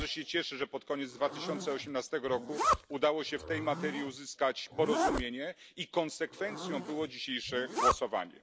Bardzo się cieszę, że pod koniec 2018 roku udało się w tej materii uzyskać porozumienie i konsekwencją było dzisiejsze głosowanie.